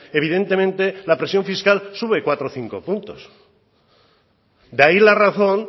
evidentemente la presión fiscal sube cuatro o cinco puntos de ahí la razón